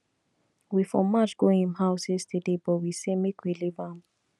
we for march go im house yesterday but we say make we leave am